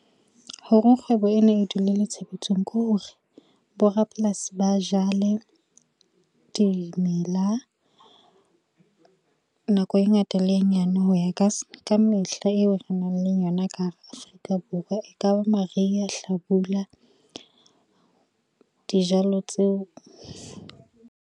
Hore kgwebo ena e dule le tshebetsong ke hore, bo rapolasi ba jale dimela nako e ngata le e nyane hoya ka mehla eo re nang le yona ka hara Afrika Borwa, e kaba mariha hlabula dijalo tseo.